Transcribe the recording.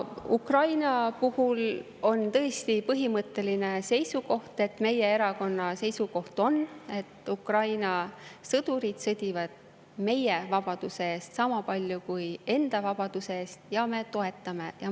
Ukraina puhul on tõesti meie erakonna põhimõtteline seisukoht, et Ukraina sõdurid sõdivad meie vabaduse eest sama palju kui enda vabaduse eest, ja me toetame neid.